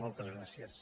moltes gràcies